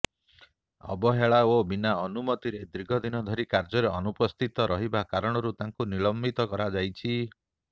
ଅବହେଳା ଓ ବିନା ଅନୁମତିରେ ଦୀର୍ଘଦିନ ଧରି କାର୍ଯ୍ୟରେ ଅନୁପସ୍ଥିତ ରହିବା କାରଣରୁ ତାଙ୍କୁ ନିଲମ୍ୱିତ କରାଯାଇଛି